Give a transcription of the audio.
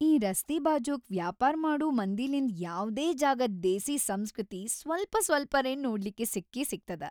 ಈ ರಸ್ತೀ ಬಾಜೂಕ್‌ ವ್ಯಾಪಾರ್ ಮಾಡೂ ಮಂದಿಲಿಂದ್ ಯಾವ್ದೇ ಜಾಗದ್‌ ದೇಸೀ ಸಂಸ್ಕೃತಿ ಸ್ವಲ್ಪ್‌ಸ್ವಲ್ಪರೆ ನೋಡ್ಲಿಕ್ಕಿ ಸಿಕ್ಕೇಸಿಗ್ತದ.